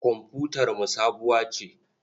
Komfutarmu sabuwa ce.